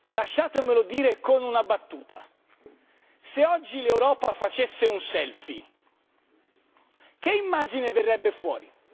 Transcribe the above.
Lasciatemelo dire con una battuta se oggi l'Europa facesse un selfie che immagine verrebbe fuori?